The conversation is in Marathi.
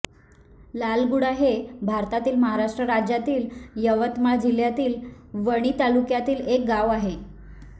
लालगुडा हे भारतातील महाराष्ट्र राज्यातील यवतमाळ जिल्ह्यातील वणी तालुक्यातील एक गाव आहे